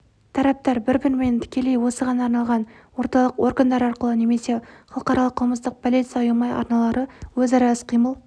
тараптар бір-бірімен тікелей осыған арналған орталық органдар арқылы немесе халықаралық қылмыстық полиция ұйымы арналары өзара іс-қимыл